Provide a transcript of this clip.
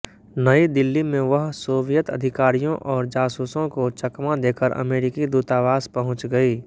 नई दिल्ली में वह सोवियत अधिकारियों और जासूसों को चकमा देकर अमेरिकी दूतावास पहुंच गईं